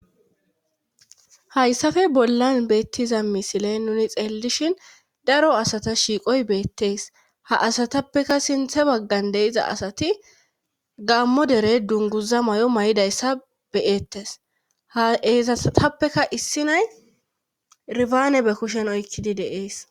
hayssafe bollan beettiza misile nuni xeellishin daro asata shiiqoy beettees ha asatappeka sinthe baggan de iza asati gammo dere dunguza may7o may7idayssa beyeettes ha eezatappeka issi nay ribaane be kushen oykkidi deees